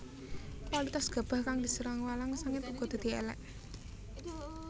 Kualitas gabah kang diserang walang sangit uga dadi élék